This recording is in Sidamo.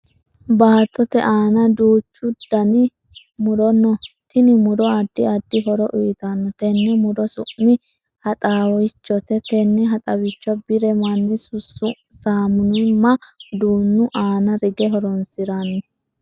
Baattote aanna duuchu Danni muro no. Tinni muro addi addi horo uyitano. Tenne muro su'mi haxaawichote. Tenne haxaawicho bire manni saamunnimma uduunu aanna rige horoonsirano.